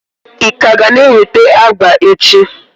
ị ka ga na-eweta agba echi?